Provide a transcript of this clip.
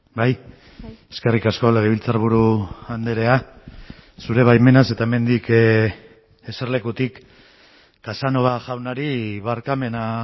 bai eskerrik asko legebiltzarburu andrea zure baimenaz eta hemendik eserlekutik casanova jaunari barkamena